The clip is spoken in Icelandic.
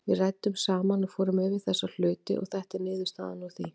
Við ræddum saman og fórum yfir þessa hluti og þetta er niðurstaðan úr því.